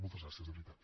moltes gràcies de veritat